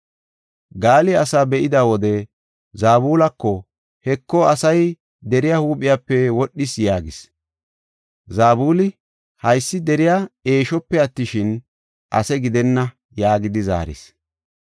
Gaali asaa be7ida wode Zabulako, “Heko, asay deriya huuphiyape wodhees” yaagis. Zabuli, “Haysi deriya eeshope attishin, ase gidenna” yaagidi zaaris.